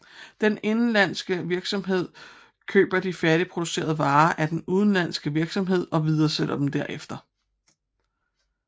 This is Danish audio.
Den indenlandske virksomhed køber de færdigproducerede varer af den udenlandske virksomhed og videresælger dem derefter